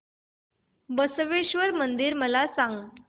बसवेश्वर मंदिर मला सांग